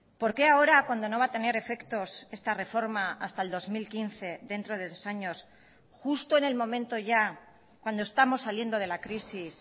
por qué ahora cuando no va a tener efectos esta reforma hasta el dos mil quince dentro de dos años justo en el momento ya cuando estamos saliendo de la crisis